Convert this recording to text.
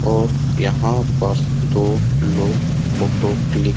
और यहाँ पर दो लोग फ़ोटो क्लीक --